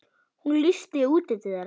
Hún lýsti útliti þeirra.